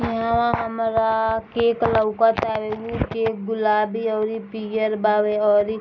यहाँ हमरा केक लउकत | उ केक गुलाबी और इ पियर बावे और इ --